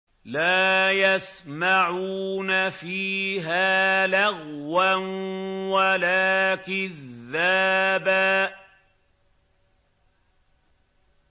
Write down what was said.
لَّا يَسْمَعُونَ فِيهَا لَغْوًا وَلَا كِذَّابًا